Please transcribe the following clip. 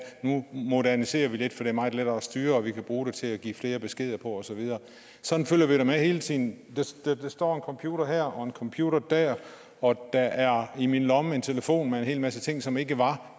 nu moderniserer vi lidt for det er meget lettere at styre og vi kan bruge det til at give flere beskeder på og så videre sådan følger vi da med hele tiden der står en computer her og computer der og der er i min lomme en telefon med en hel masse ting som ikke var